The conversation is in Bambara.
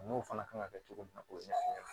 N'o fana kan ka kɛ cogo min na o ɲɛ